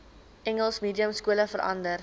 engels mediumskole verander